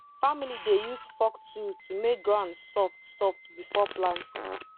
family dey use fork tool to make ground soft soft before planting